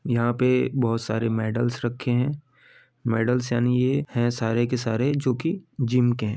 यहाँ पे बहोत सारे मेडल्स रखे हैं मेडल्स यानी ये है सारे के सारे जो की जिम के हैं।